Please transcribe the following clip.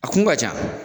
A kun ka ca